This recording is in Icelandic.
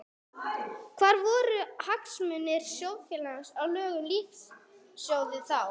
Hvar voru hagsmunir sjóðfélaga og lög um lífeyrissjóði þá?